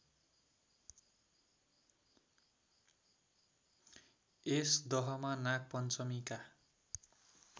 यस दहमा नागपञ्चमीका